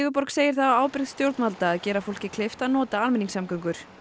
segir það á ábyrgð stjórnvalda að gera fólki kleift að nota almenningssamgöngur